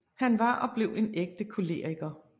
Han var og blev en ægte koleriker